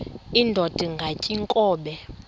indod ingaty iinkobe